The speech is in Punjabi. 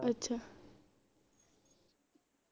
ਅੱਛਾ